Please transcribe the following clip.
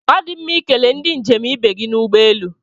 Ọ dị mma ikele ndị njem ibe gị n'ụgbọelu